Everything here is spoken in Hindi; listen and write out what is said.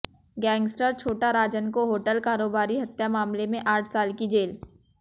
गैंगस्टर छोटा राजन को होटल कारोबारी हत्या मामले में आठ साल की जेल